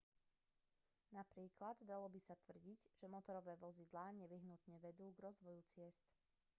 napríklad dalo by sa tvrdiť že motorové vozidlá nevyhnutne vedú k rozvoju ciest